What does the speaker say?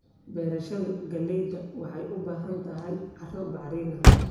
Beerashada galleyda waxay u baahan tahay carro bacrin ah.